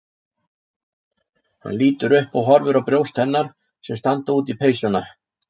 Hann lítur upp og horfir á brjóst hennar sem standa út í peysuna.